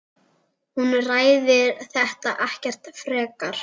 Hún ræðir þetta ekkert frekar.